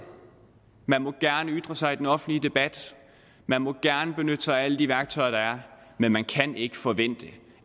man må gerne ytre sig i den offentlige debat man må gerne benytte sig af alle de værktøjer der er men man kan ikke forvente